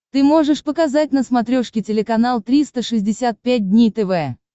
ты можешь показать на смотрешке телеканал триста шестьдесят пять дней тв